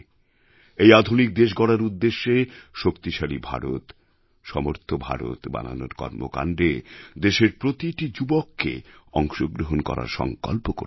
এই আধুনিক দেশ গড়ার উদ্দেশ্যে শক্তিশালী ভারত সমর্থ ভারত বানানোর কর্মকাণ্ডে দেশের প্রতিটি যুবককে অংশগ্রহণ করার সঙ্কল্প করতে হবে